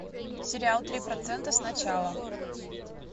сериал три процента сначала